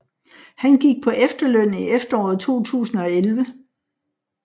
Han gik på efterløn i efteråret 2011